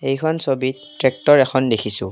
এইখন ছবিত ট্ৰেক্টৰ এখন দেখিছোঁ।